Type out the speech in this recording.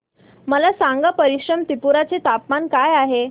मला सांगा पश्चिम त्रिपुरा चे तापमान काय आहे